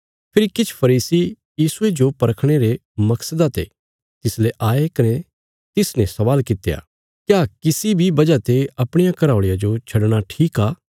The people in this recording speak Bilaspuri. फेरी किछ फरीसी यीशुये जो परखणे रे मकसदा ते तिसले आए कने तिसने स्वाल कित्या क्या किसी बी वजह ते अपणिया घराऔल़िया जो छडणा ठीक आ